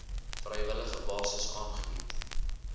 vrywillige basis aangebied